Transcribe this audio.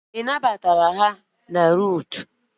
E nabatara ha na Lutu